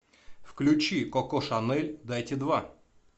включи коко шанель дайте два